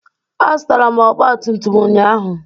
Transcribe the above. Azụtara m ọgba tum tum ụnyaahụ